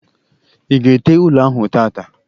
I ga ete ụlọ ahụ tata